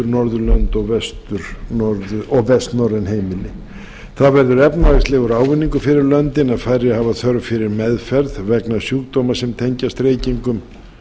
norðurlönd og vestnorræn heimili það verður efnahagslegur ávinningur fyrir löndin að færri hafa þörf fyrir meðferð vegna sjúkdóma sem tengjast reykingum